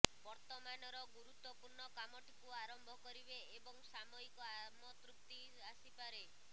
ବର୍ତ୍ତମାନର ଗୁରୁତ୍ୱପୂର୍ଣ୍ଣ କାମଟିକୁ ଆରମ୍ଭ କରିବେ ଏବଂ ସାମୟିକ ଆମତୃପ୍ତି ଆସିପାରେ